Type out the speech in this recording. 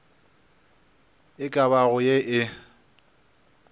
e ka bago ye e